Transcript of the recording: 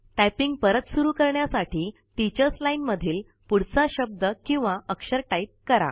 typing परत सुरु करण्यासाठी टीचर्स लाईन मधील पुढचा शब्द किंवा अक्षर टाईप करा